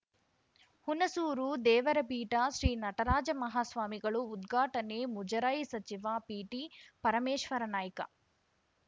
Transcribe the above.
ಹುಣಸೂರು ದೇವರಪೀಠ ಶ್ರೀ ನಟರಾಜ ಮಹಾಸ್ವಾಮಿಗಳು ಉದ್ಘಾಟನೆ ಮುಜರಾಯಿ ಸಚಿವ ಪಿಟಿಪರಮೇಶ್ವರನಾಯ್ಕ